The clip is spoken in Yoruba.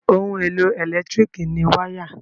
Ohun-èlò ẹ̀lẹ́tíríkì ni wáyà.